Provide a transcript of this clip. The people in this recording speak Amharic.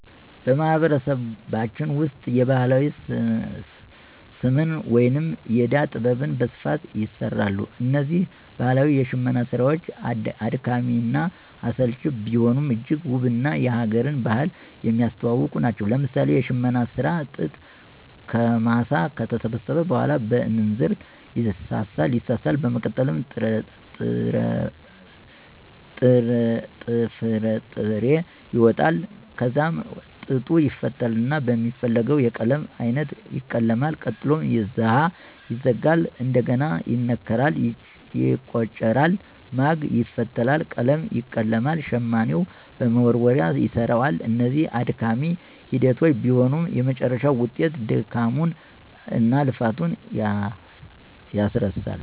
በማህበረሰባችን ውስጥ የባህላዊ ስምነ ወይም የእዳ ጥበብ በስፋት ይሰራሉ። እነዚህ ባህላዊ የሽመና ስራዎች አድካሚ እና አሰልቺ ቢሆኑም እጅግ ውብ እና የ ሀገርን ባህል የሚያስተዋውቁ ናቸው። ለምሳሌ የሽመና ስራ ጥጥ ከማሳ ከተሰበሰበ በኋላ በእንዝርት ይሳሳል በመቀጠልም ጥፍጥሬ ይወጣል ከዛም ጥጡ ይፈተልና በሚፈለገው የቀለም አይነት ይቀለማል ቀጥሎም ዛሀ ይዘጋል፣ እንደግና ይነከራል፣ ይቆጨራል፣ ማግ ይፈተላል፣ ቀለም ይቀለማል፣ ሸማኔው በመወርወርያ ይሰራዋል። እነዚህ አድካሚ ሂደቶች ቢሆኑም የመጨረሻው ውጤት ድካሙን እናልፋቱን ያስረሳል።